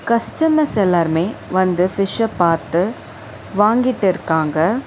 Customers எல்லாருமே வந்து ஃபிஷ்ஷ பாத்து வாங்கிட்ருக்காங்க.